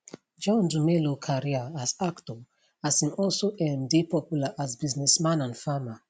john dumelo career as actor as im also um dey popular as businessman and farmer